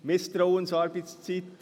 Misstrauensarbeitszeit?